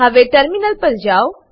હવે ટર્મિનલ પર જાઓ